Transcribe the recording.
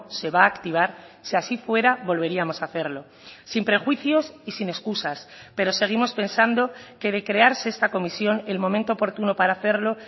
se va a activar si así fuera volveríamos a hacerlo sin prejuicios y sin excusas pero seguimos pensando que de crearse esta comisión el momento oportuno para hacerlo